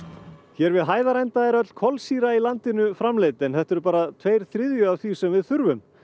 hér við Hæðarenda er öll kolsýra í landinu framleidd en þetta eru bara tveir þriðju af því sem við þurfum